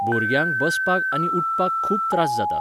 भुरग्यांक बसपाक आनी उठपाक खूब त्रास जाता.